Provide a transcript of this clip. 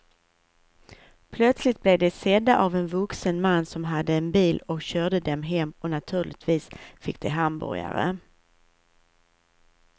Plötsligt blev de sedda av en vuxen man som hade en bil och körde dem hem och naturligtvis fick de hamburgare.